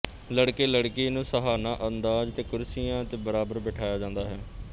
ਲੜਕੇਲੜਕੀ ਨੂੰ ਸ਼ਾਹਾਨਾ ਅੰਦਾਜ਼ ਚ ਕੁਰਸੀਆਂ ਤੇ ਬਰਾਬਰ ਬੈਠਾਇਆ ਜਾਂਦਾ ਹੈ